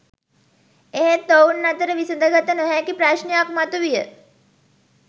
එහෙත් ඔවුන් අතර විසඳාගත නොහැකි ප්‍රශ්නයක් මතු විය